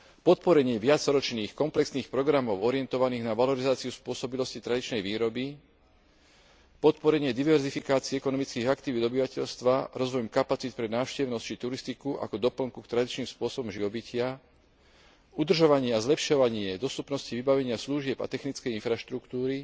podporenie viacročných komplexných programov orientovaných na valorizáciu spôsobilosti tradičnej výroby, podporenie diverzifikácie ekonomických aktivít obyvateľstva rozvojom kapacít pre návštevnosť či turistiku ako doplnku k tradičným spôsobom živobytia, udržovanie a zlepšovanie dostupnosti vybavenia služieb a technickej infraštruktúry,